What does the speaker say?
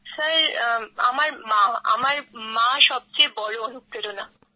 sir আমার মা আমার সবচেয়ে বড় অনুপ্রেরণা